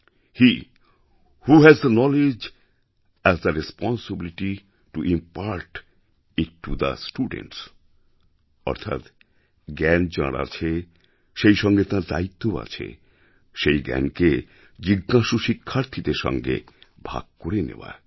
hey who has the knowledge has the responsibility to impart it to the students অর্থাৎ জ্ঞান যাঁর আছে সেই সঙ্গে তাঁর দায়িত্বও আছে সেই জ্ঞানকে জিজ্ঞাসু শিক্ষার্থীদের সঙ্গে ভাগ করে নেওয়ার